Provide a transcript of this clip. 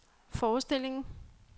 forestillingen